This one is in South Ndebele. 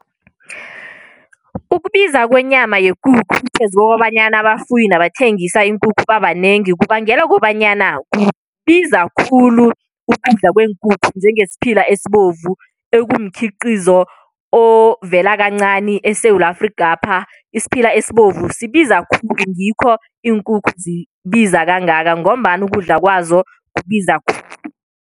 Ukubiza kwenyama yekukhu phezu kokobanyana abafuyi nabathengisa iinkukhu babanengi, kubangelwa kobanyana kubiza khulu ukudla kweenkukhu, njengesiphila esibovu, ekumkhiqizo ovela kancani eSewula Afrikapha. Isiphila esibovu sibiza khulu, ngikho iinkukhu zibiza kangaka, ngombana ukudla kwazo kubiza khulu.